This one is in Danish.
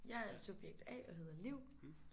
Jeg er subjekt A og hedder Liv